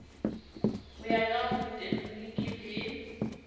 ho ya ka botekgeniki le